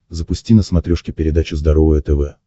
запусти на смотрешке передачу здоровое тв